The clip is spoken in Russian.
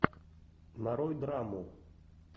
нарой драму